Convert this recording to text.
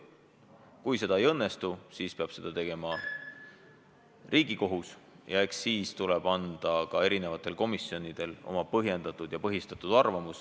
Kui see siin ei õnnestu, siis peab seda tegema Riigikohus, ja eks siis tuleb eri komisjonidel anda oma põhjendatud ja põhistatud arvamus.